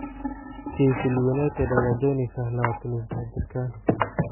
Sheffield United ayaa dooneysa 23 jirkaan.